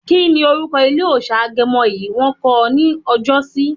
Kíni orúkọ ilé òòsà Agẹmọ yi wọ̀n kọ̀ ní ọjọ́sí?